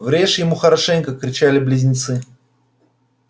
врежь ему хорошенько кричали близнецы